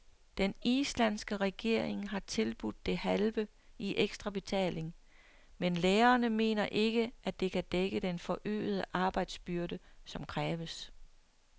Den islandske regering har tilbudt det halve i ekstrabetaling, men lærerne mener ikke, at det kan dække den forøgede arbejdsbyrde, som kræves.